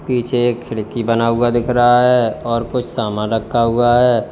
पीछे एक खिड़की बना हुआ दिख रहा है और कुछ सामान रखा हुआ है।